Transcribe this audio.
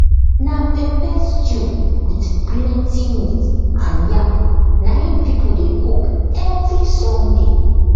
na pepper stew with plenty meat and yam na im people dey cook every sunday